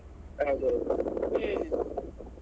ಹೌದೌದ್ ಹ್ಮ್.